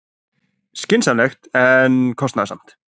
Skynsamlegt en kostnaðarsamt